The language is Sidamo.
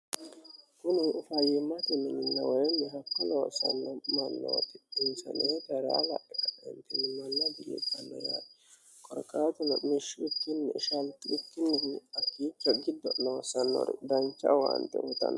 kuni ufayimmate mininawoyilni hakka loosanno mannooti insaneeta hira la'ikaenkimoll bilianne yari qorqaatulu mishshiwittinni ishaltiittinin akiicha gibba loosannoru dancha awaante wotanno